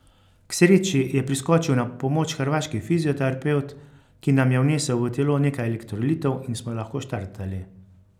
K sreči je priskočil na pomoč hrvaški fizioterapevt, ki nam je vnesel v telo nekaj elektrolitov in smo lahko štartali.